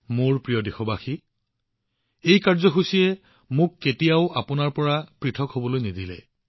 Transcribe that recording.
মোৰ মৰমৰ দেশবাসীসকল এই কাৰ্যসূচীয়ে মোক কেতিয়াও আপোনালোকৰ পৰা দূৰত ৰখা নাই